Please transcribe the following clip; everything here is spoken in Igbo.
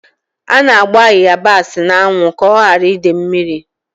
A na-agba ịyabasị n'anwụ ka ọ ghara ide mmiri.